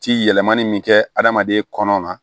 Ci yɛlɛmani min kɛ adamaden kɔnɔ na